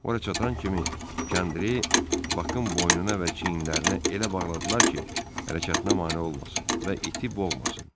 Ora çatan kimi kəndiri Bakın boynuna və çiyinlərinə elə bağladılar ki, hərəkətinə mane olmasın və iti boğmasın.